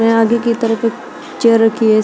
आगे की तरफ एक चेयर रखि है।